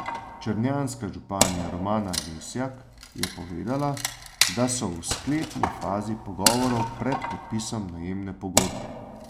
Črnjanska županja Romana Lesjak je povedala, da so v sklepni fazi pogovorov pred podpisom najemne pogodbe.